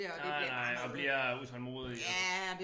Nej nej og bliver utålmodig og